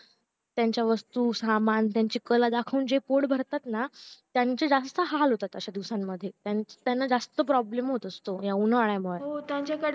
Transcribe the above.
त्यांची वस्तू सामान त्यांची कला दाखून जे पोट भरताना त्यांचे जास्त हाल होता अश्या दिवसांमध्ये त्यांना जास्त problem होतो ह्या उंन्हाल्यामुळे